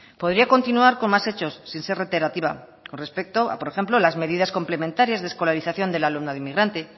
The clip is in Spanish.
podría continuar con más hechos sin ser reiterativa con respecto a por ejemplo las medidas complementarias de escolarización del alumnado inmigrante